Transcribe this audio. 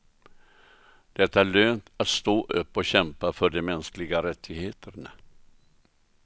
Det är lönt att stå upp och kämpa för de mänskliga rättigheterna.